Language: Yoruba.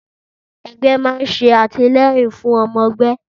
Ẹgbẹ́ ma nṣe àtìlẹ́yìn fún ọmọ ẹgbẹ́